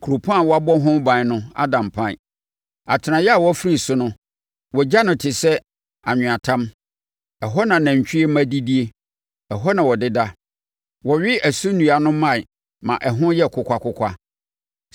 Kuropɔn a wɔabɔ ho ban no ada mpan; atenaeɛ a wɔafiri so no wɔagya no te sɛ anweatam; ɛhɔ na anantwie mma didie, ɛhɔ na wɔdeda; wɔwe ɛso nnua no mman ma ɛho yɛ kokwakokwa.